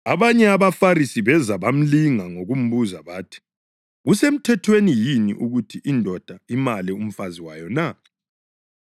Abanye abaFarisi beza bamlinga ngokumbuza bathi, “Kusemthethweni yini ukuthi indoda imale umfazi wayo na?”